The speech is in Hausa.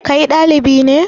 Kai ɗalibi ne?